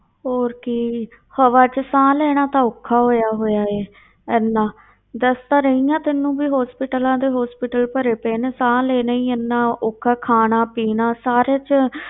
ਹੋਰ ਕੀ ਹਵਾ ਵਿੱਚ ਸਾਹ ਲੈਣਾ ਤਾਂ ਔਖਾ ਹੋਇਆ ਹੋਇਆ ਹੈ ਇੰਨਾ ਦੱਸ ਤਾਂ ਰਹੀ ਹਾਂ ਤੈਨੂੰ ਵੀ hospitals ਦੇ hospital ਭਰੇ ਪਏ ਨੇ, ਸਾਹ ਲੈਣਾ ਹੀ ਇੰਨਾ ਔਖਾ, ਖਾਣਾ ਪੀਣਾ ਸਾਰੇ ਵਿੱਚ,